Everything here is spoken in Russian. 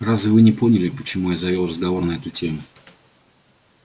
разве вы не поняли почему я завёл разговор на эту тему